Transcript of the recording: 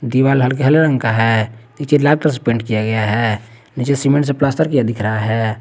दीवार हल्के हले रंग का है नीचे लाल रंग से किया गया है नीचे सीमेंट से प्लास्टर किया गया है।